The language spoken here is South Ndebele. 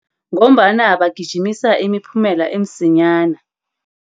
Ngombana bagijimisa imiphumela emsinyana.